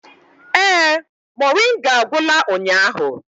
Ee, moringa agwụla ụnyahụ.